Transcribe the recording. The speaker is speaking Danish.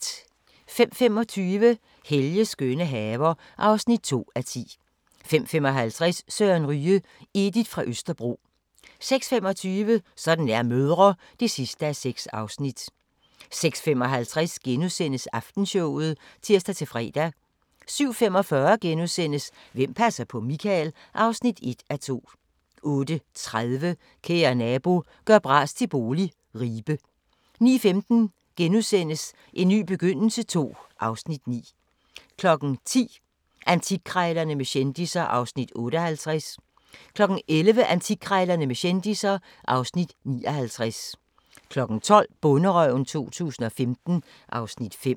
05:25: Helges skønne haver (2:10) 05:55: Søren Ryge: Edith fra Østerbro 06:25: Sådan er mødre (6:6) 06:55: Aftenshowet *(tir-fre) 07:45: Hvem passer på Michael? (1:2)* 08:30: Kære nabo – gør bras til bolig – Ribe 09:15: En ny begyndelse II (Afs. 9)* 10:00: Antikkrejlerne med kendisser (Afs. 58) 11:00: Antikkrejlerne med kendisser (Afs. 59) 12:00: Bonderøven 2015 (Afs. 5)